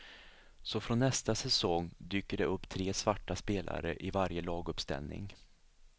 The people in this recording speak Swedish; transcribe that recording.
Så från nästa säsong dyker det upp tre svarta spelare i varje laguppställning.